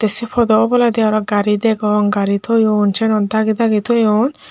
se podo oboladi aro gari degong gari toyon sianot dagi dagi toyon.